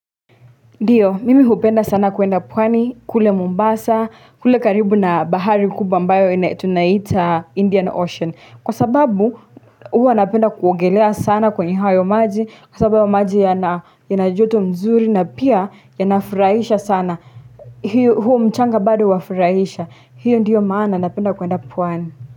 Ndiyo, mimi hupenda sana kuenda pwani, kule Mombasa, kule karibu na bahari kubwa ambayo tunaita Indian Ocean, kwa sababu huwa napenda kuogelea sana kwenye hayo maji, kwa sababu maji yana joto mzuri na pia yanafurahisha sana, huo mchanga bado wafurahisha, hiyo ndiyo maana napenda kuenda pwani.